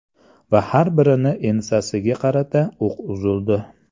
Va har birini ensasiga qarata o‘q uzildi.